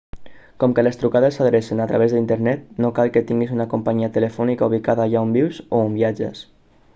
com que les trucades s'adrecen a través d'internet no cal que tinguis una companyia telefònica ubicada allà on vius o on viatges